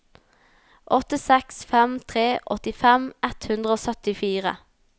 åtte seks fem tre åttifem ett hundre og syttifire